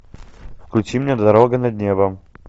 включи мне дорога над небом